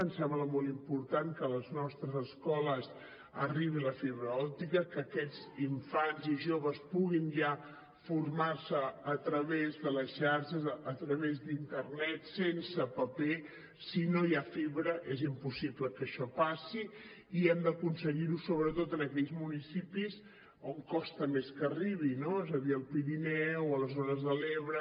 ens sembla molt important que a les nostres escoles arribi la fibra òptica que aquests infants i joves puguin ja formar se a través de la xarxa a través d’internet sense paper si no hi ha fibra és impossible que això passi i hem d’aconseguir ho sobretot en aquells municipis on costa més que arribi no és a dir al pirineu a les zones de l’ebre